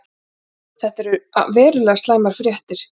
Þetta eru verulega slæmar fréttir.